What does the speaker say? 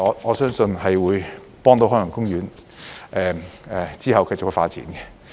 我相信這方面有助海洋公園往後繼續發展。